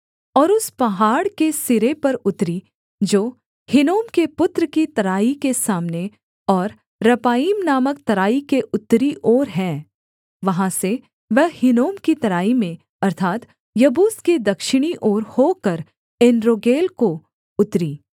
और उस पहाड़ के सिरे पर उतरी जो हिन्नोम के पुत्र की तराई के सामने और रपाईम नामक तराई के उत्तरी ओर है वहाँ से वह हिन्नोम की तराई में अर्थात् यबूस के दक्षिणी ओर होकर एनरोगेल को उतरी